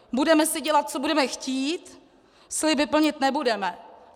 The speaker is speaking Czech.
Budeme si dělat co budeme chtít, sliby plnit nebudeme.